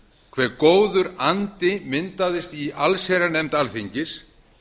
hve góður andi myndaðist í allsherjarnefnd alþingis